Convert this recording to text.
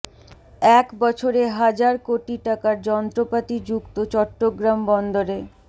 এক বছরে হাজার কোটি টাকার যন্ত্রপাতি যুক্ত চট্টগ্রাম বন্দরে